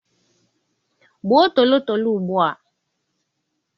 Gbuo tolotolo ugbu a.